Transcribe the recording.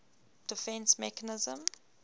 defence mechanism